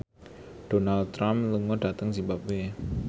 Donald Trump lunga dhateng zimbabwe